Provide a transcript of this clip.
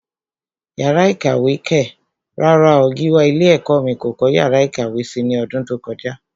Yàrá ìkàwé kẹ̀! rárá o, Gíwá ilé ẹ̀kọ́ mí kò kọ́ yàrá ìkàwé si ní ọdún tó kọjá.